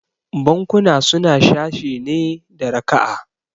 Bankuna suna sashe ne da raka'a